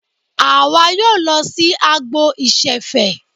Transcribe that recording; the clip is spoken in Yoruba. Àwa yóò lọ sí agbo ìṣẹ̀fẹ̀.